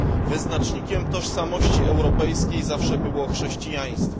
Wyznacznikiem tożsamości europejskiej zawsze było chrześcijaństwo.